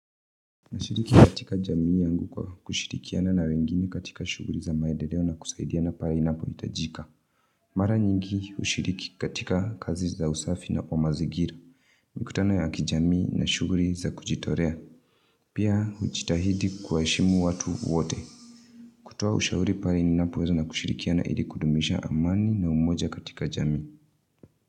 Na lshiriki katika jamii yangu kwa kushirikiana na wengine katika shughuli za maedeleo na kusaidiana pahali inapohitajika. Mara nyingi hushiriki katika kazi za usafi na kwa mazingira. Mikutano ya kijamii na shughuli za kujitolea. Pia hujitahidi kuwaheshimu watu wote. Kutoa ushauri pale ninapoweza na kushirikiana ili kudumisha amani na umoja katika jamii.